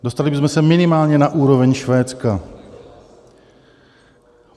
Dostali bychom se minimálně na úroveň Švédska.